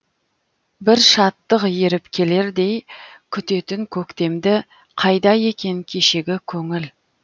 бір шаттық еріп келердей күтетін көктемді қайда екен кешегі көңіл